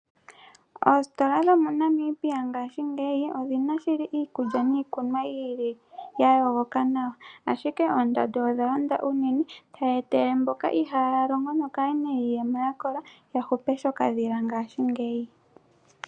Oositola dhomoNamibia ngaashingeyi odhina shili iikulya niikunwa yiili yayogoka nawa, ashike ondando odha londa unene, tayi etele mboka ihaaya longo nokaayena iiyemo yakola yahupe shokadhila ngaashingeyi.